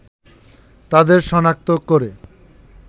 তাদের সনাক্ত করে